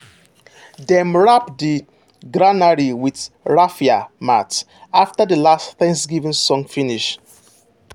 dem wrap the granary with raffia mat after the last thanksgiving song finish.